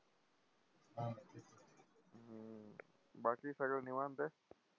बाकी सगळं निवांत आहे?